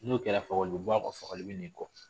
N'o kɛra fakoli bɛ bɔ a kɔ fakoli bɛ na i kɔ